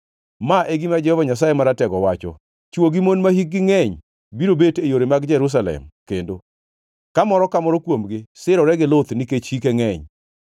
Ma e gima Jehova Nyasaye Maratego wacho: “Chwo gi mon mahikgi ngʼeny biro bet e yore mag Jerusalem kendo, ka moro ka moro kuomgi sirore gi luth nikech hike ngʼeny.